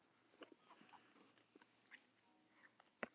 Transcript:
Veit Ólafur hvað Jökull sagði við Þorvald Árnason dómara?